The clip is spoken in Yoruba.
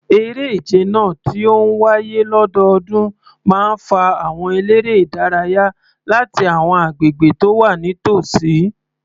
Eré ìje náà, tí ó ń wáyé lọ́dọọdún, máa ń fa àwọn eléré-ìdárayá láti àwọn agbègbè tó wà nítòsí.